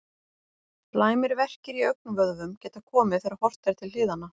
Slæmir verkir í augnvöðvum geta komið þegar horft er til hliðanna.